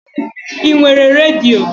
I nwere redio?